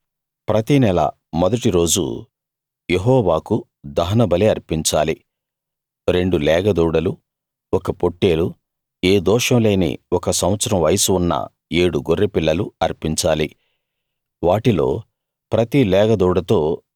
ప్రతినెల మొదటి రోజు యెహోవాకు దహన బలి అర్పించాలి రెండు లేగదూడలు ఒక పొట్టేలు ఏ దోషం లేని ఒక సంవత్సరం వయస్సు ఉన్న ఏడు గొర్రెపిల్లలు అర్పించాలి వాటిలో ప్రతి లేగ దూడతో